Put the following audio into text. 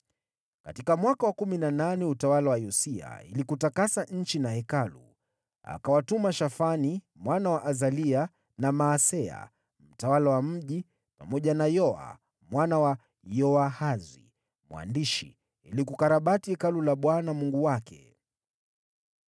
Katika mwaka wa kumi na nane wa utawala wa Yosia, ili kutakasa nchi na Hekalu, akawatuma Shafani, mwana wa Azalia na Maaseya mtawala wa mji, pamoja na Yoa mwana wa Yoahazi, mwandishi ili kukarabati Hekalu la Bwana Mungu wake.